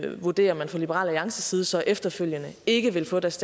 vurderer man fra liberal alliances side så efterfølgende ikke vil få deres